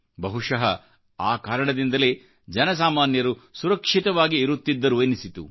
ಬಹಶಃ ಆಕಾರಣದಿಂದಲೇ ಜನಸಾಮಾನ್ಯರು ಸುರಕ್ಷಿತವಾಗಿ ಇರುತ್ತಿದ್ದರು ಎನ್ನಿಸಿತು